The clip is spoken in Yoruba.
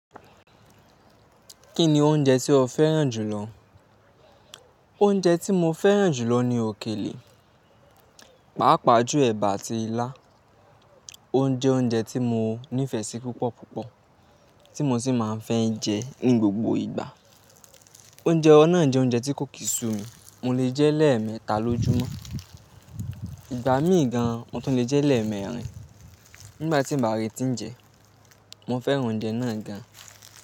Kí ni oúnjẹ tí o fẹ́ràn jù lọ? Oúnjẹ tí mo fẹ́ràn jù lọ ni òkèlè, pàápàá jù ẹ̀bà àti ilá. O jẹ oúnjẹ tí mo nífẹ̀ẹ́ sí púpọ̀ púpọ̀ tí mo sì máa ń fẹ́ jẹ ní gbogbo ìgbà. Oúnjẹ ọ̀nà jẹ oúnjẹ tí kò kí sú mi, mo lè jẹ́ lẹ́ẹ̀mẹta lójúmọ́. Ìgbà mí ì gan, mo tún lè jẹ́ lẹ́ẹ̀mẹrin. Nígbà tí n bá ri n tí n jẹ, mo fẹ́ràn oúnjẹ náà gan.